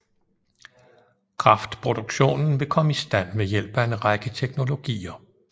Kraftproduktionen vil komme i stand ved hjælp af en række teknologier